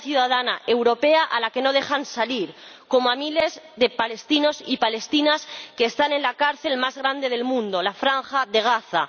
Una ciudadana europea a la que no dejan salir, como a miles de palestinos y palestinas que están en la cárcel más grande del mundo la Franja de Gaza.